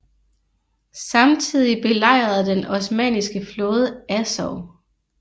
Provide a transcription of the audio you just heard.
Samtidig belejrede den osmanniske flåde Azov